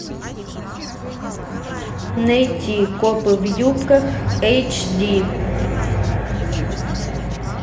найти копы в юбках эйч ди